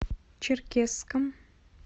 черкесском